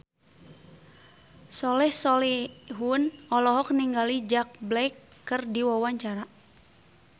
Soleh Solihun olohok ningali Jack Black keur diwawancara